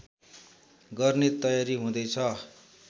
गर्ने तयारी हुँदैछ